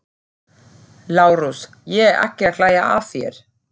LÁRUS: Ég er ekki að hlæja að þér.